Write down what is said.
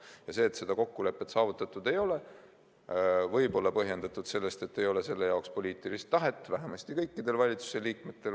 Ja see, et seda kokkulepet saavutatud ei ole, võib olla põhjustatud sellest, et ei ole poliitilist tahet, vähemasti kõikidel valitsuse liikmetel.